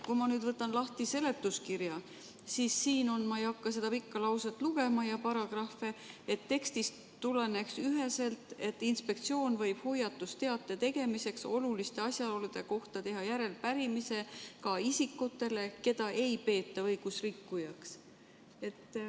Kui ma võtan lahti seletuskirja, siis siin on – ma ei hakka seda pikka lauset ja neid paragrahve ette lugema –, et tekstist peaks tulenema üheselt, et inspektsioon võib hoiatusteate tegemiseks oluliste asjaolude kohta teha järelepärimise ka isikutele, keda ei peeta õigusrikkujaks.